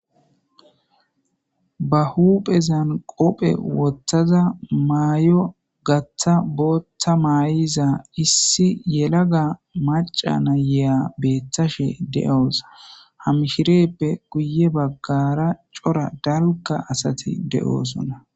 ba huphezan qophe wothaza maayo gatha booththa maay7iza issi yelaga macana yeya beeththashe de7oosa hamshireppe guye baggara cora dalukka asati de7oosonna